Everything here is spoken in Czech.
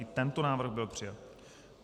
I tento návrh byl přijat.